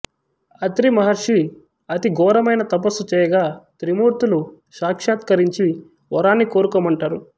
అత్రి మహర్షి అతి ఘోరమైన తపస్సు చేయగా త్రిమూర్తులు సాక్షాత్కరించి వరాన్ని కోరుకోమంటారు